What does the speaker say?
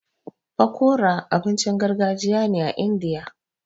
Fakori abincin gargajiya ne a Indiya.